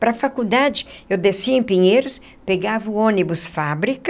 Para a faculdade, eu descia em Pinheiros, pegava o ônibus fábrica.